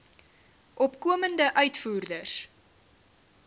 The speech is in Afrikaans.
opkomende uitvoerders